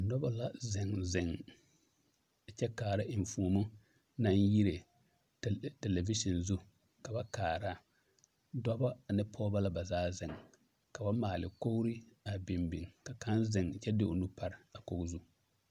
Noba la zeŋ zeŋ kyɛ kaara eŋfuoni naŋ yire tele television zu ka ba kaara dɔba ane pɔgeba la ba zaa zeŋ ka ba maale kogre a biŋ biŋ ka kaŋ zeŋ kyɛ de o nu pare a kogi zu.